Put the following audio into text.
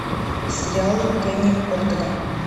сериалы кенни ортега